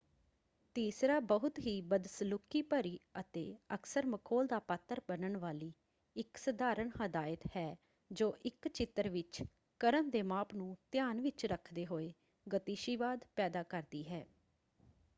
ਤੀਸਰਾ ਬਹੁਤ ਹੀ ਬਦਸਲੂਕੀ ਭਰੀ ਅਤੇ ਅਕਸਰ ਮਖੌਲ ਦਾ ਪਾਤਰ ਬਣਨ ਵਾਲੀ ਇੱਕ ਸਧਾਰਣ ਹਦਾਇਤ ਹੈ ਜੋ ਇੱਕ ਚਿੱਤਰ ਵਿੱਚ ਕ੍ਰਮ ਦੇ ਮਾਪ ਨੂੰ ਧਿਆਨ ਵਿੱਚ ਰੱਖਦੇ ਹੋਏ ਗਤੀਸ਼ੀਵਾਦ ਪੈਦਾ ਕਰਦੀ ਹੈ।